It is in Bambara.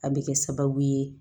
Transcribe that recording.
A bɛ kɛ sababu ye